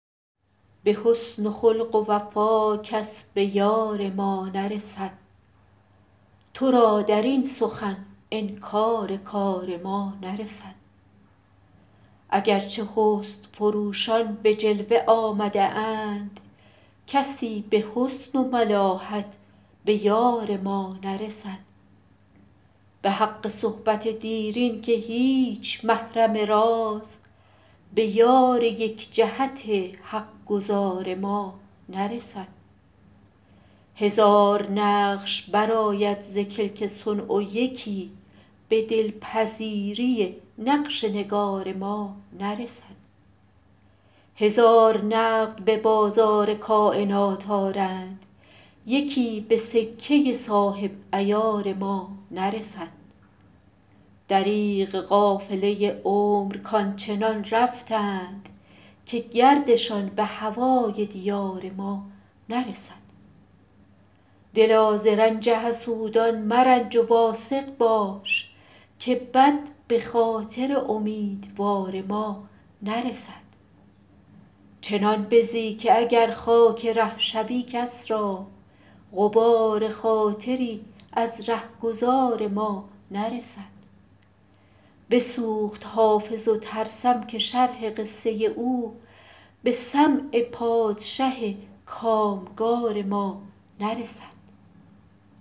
به حسن و خلق و وفا کس به یار ما نرسد تو را در این سخن انکار کار ما نرسد اگر چه حسن فروشان به جلوه آمده اند کسی به حسن و ملاحت به یار ما نرسد به حق صحبت دیرین که هیچ محرم راز به یار یک جهت حق گزار ما نرسد هزار نقش برآید ز کلک صنع و یکی به دل پذیری نقش نگار ما نرسد هزار نقد به بازار کاینات آرند یکی به سکه صاحب عیار ما نرسد دریغ قافله عمر کآن چنان رفتند که گردشان به هوای دیار ما نرسد دلا ز رنج حسودان مرنج و واثق باش که بد به خاطر امیدوار ما نرسد چنان بزی که اگر خاک ره شوی کس را غبار خاطری از ره گذار ما نرسد بسوخت حافظ و ترسم که شرح قصه او به سمع پادشه کام گار ما نرسد